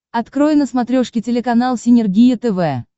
открой на смотрешке телеканал синергия тв